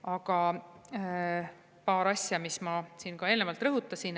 Aga veel paar asja, mida ma siin eelnevalt juba rõhutasin.